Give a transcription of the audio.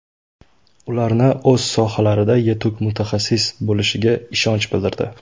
Ularni o‘z sohalarida yetuk mutaxassis bo‘lishlariga ishonch bildirdi.